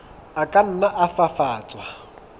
a ka nna a fafatswa